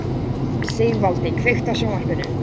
Sigvaldi, kveiktu á sjónvarpinu.